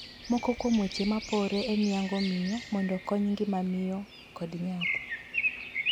Moko kuom weche ma poree en yang'o miyo mondo kony ngima miyo kod nyathi.